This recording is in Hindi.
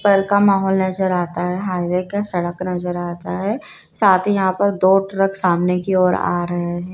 माहौल नजर आता है हाईवे का सड़क नजर आता है साथ ही यहां पर दो ट्रक सामने की ओर आ रहे हैं।